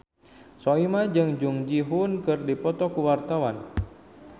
Soimah jeung Jung Ji Hoon keur dipoto ku wartawan